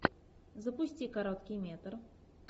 запусти короткий метр